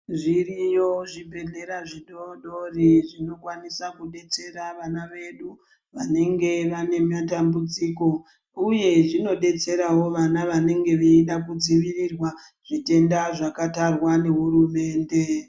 Zviriyo zvibhedhlera zvidoodori zvinokwanisa kudetsera vana vedu vanenge vane matambudziko uye zvinodetserawo vana vanenge veida kudzivirirwa zvitenda zvakatarwa nehurumende.